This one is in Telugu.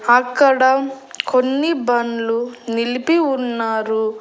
అక్కడ కొన్ని బండ్లు నిలిపి ఉన్నారు.